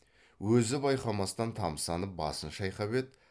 өзі байқамастан тамсанып басын шайқап еді